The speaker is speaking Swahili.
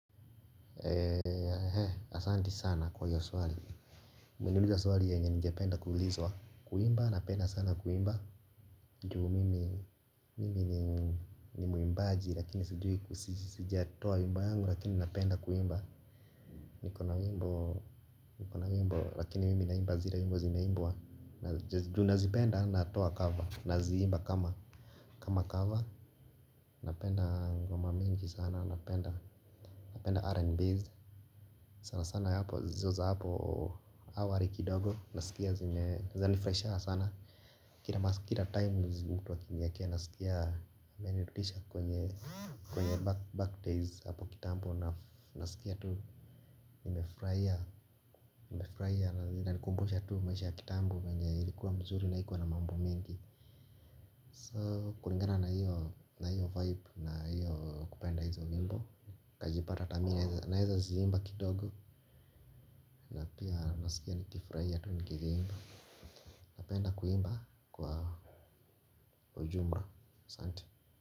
Asanti sana kwa hiyo swali umeniuliza swali yenye ningependa kuulizwa. Kuimba napenda sana kuimba juu mimi ni muimbaji lakini sijiatoa wimbo yangu lakini napenda kuimba. Niko na nyimbo lakini mimi naimba zile nyimbo zinaimbwa juu nazipenda natoa kava naziimba kama kama kava. Napenda ngoma mingi sana napenda R and Bs sana sana hapo hizo za hapo awali kidogo nasikia zime zanifurahishanga sana kila times mtu akaniwekea nasikia imenirudisha kwenye kwenye back days hapo kitambo nasikia tu nimefurahia na inanikumbusha tu maisha ya kitambo venye ilikuwa mzuri na haikuwa na mambo mingi so kulingana na hiyo vibe na hiyo kupenda hizo nyimbo kajipata hata mina naweza ziimba kidogo. Napia nasikia nikifurahia tu nikiziimba. Napenda kuimba kwa ujumla, asante.